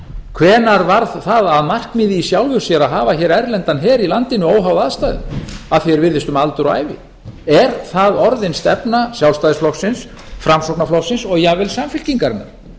hvenær varð það að markmiði í sjálfu sér að hafa hér erlendan her í landinu óháð aðstæðum að því er virðist um aldur og ævi er það orðin stefna sjálfstæðisflokksins framsóknarflokksins og jafnvel samfylkingarinnar